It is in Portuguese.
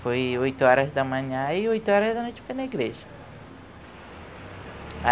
Foi oito horas da manhã e oito horas da noite foi na igreja.